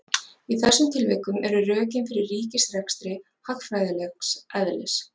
Í þessum tilvikum eru rökin fyrir ríkisrekstri hagfræðilegs eðlis.